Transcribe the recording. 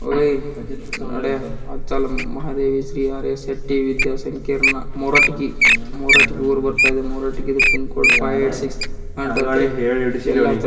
ಓಹ್ಯೇ ನಡೆ ಅಟಲ್ ಮಹಾದೇವಿ ಶ್ರೀ ಹರೇ ಶೆಟ್ಟಿ ವಿದ್ಯಾ ಸಂಕೀರ್ಣ ಮೋರಠಿಗಿ ಮೋರಠಿಗಿ ಊರು ಬರ್ತಾ ಇದೇ Moratagi pin code five eight six ಎಲ್ಲರಂಥದು ಯಲ್ಲಾ --